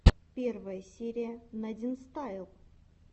первая серия надинстайл